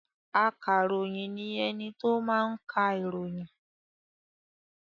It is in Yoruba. Akaròyìn ni ẹni tó máa ń ka ìròyìn.